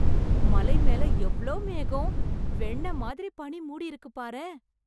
மலை மேல எவ்ளோ மேகம்... வெண்ணெய் மாதிரி பனி மூடியிருக்கு பாரேன்...